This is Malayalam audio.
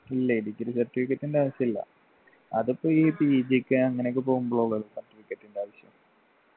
ഇല്ല degree certificate ൻ്റെ ആവശ്യമില്ല അതിപ്പൊ ഈ PG ക്ക് അങ്ങനെയൊക്കെ പോകുമ്പോളാ ഉള്ളു ഇ certificate ൻ്റെ ആവശ്യം